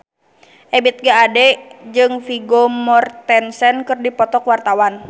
Ebith G. Ade jeung Vigo Mortensen keur dipoto ku wartawan